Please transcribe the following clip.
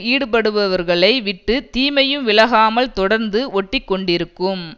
ஈடுபடுகிறவர்களை விட்டு தீமையும் விலகாமல் தொடர்ந்து ஒட்டி கொண்டிருக்கும்